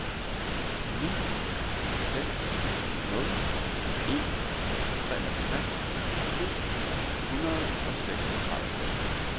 ni seks nul en treogtres syv hundrede og seksogtredive